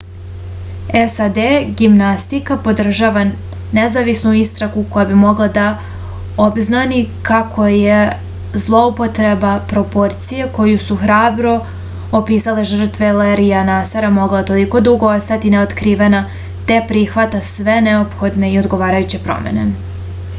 sad gimnastika podržava nezavisnu istragu koja bi mogla da obznani kako je zloupotreba proporcije koju su hrabro opisale žrtve lerija nasara mogla toliko dugo ostati neotkrivena te prihvata sve neophodne i odgovarajuće promene